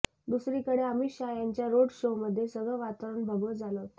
दुसरीकडे अमित शाह यांच्या रोड शोमध्ये सगळं वातावरण भगवं झालं होतं